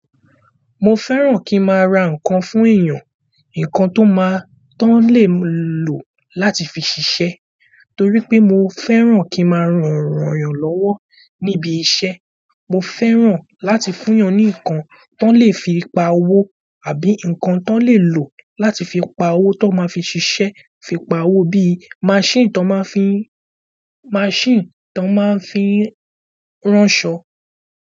Mo fẹ́ràn kí n máa ra nǹkan fún èèyàn, nǹkan tó máa tó lè lò láti fi ṣiṣẹ́ torí pé mo fẹ́ràn kí n máa rọrùn rànyàn lọ́wọ́ níbi iṣẹ́. Mo fẹ́ràn láti fún èèyàn ní nǹkan tó lè fi pa owó àbí nǹkan tó lè lò láti fi pa owó tó máa fi ṣiṣẹ́ fi pa owó bí i machine tó máa fi n, machine tó máa fi ránṣọ.